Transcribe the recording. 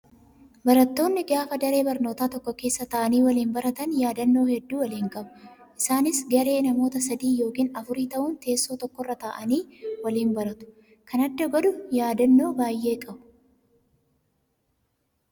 Barattoonni gaafa daree barnootaa tokko keessa taa'anii waliin baratan yaadannoo hedduu waliin qabu. Isaanis garee namoota sadii yookiin afurii ta'uun teessoo tokkorra taa'anii waliin baratu. Kan adda godhu yaadannoo baay'ee qabu.